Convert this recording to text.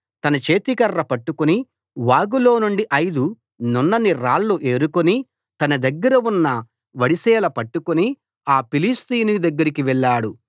తన చేతికర్ర పట్టుకుని వాగులోనుండి ఐదు నున్నని రాళ్లు ఏరుకుని తన దగ్గర ఉన్న వడిసెల పట్టుకుని ఆ ఫిలిష్తీయునికి దగ్గరగా వెళ్ళాడు